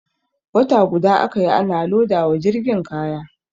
Wata guda aka yi ana loda wa jirgin kaya.